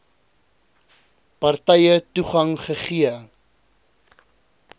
partye toegang gegee